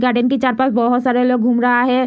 Garden के चार पास बहोत सारे लोग घूम रहा है।